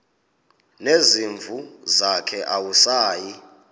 nezimvu zakhe awusayi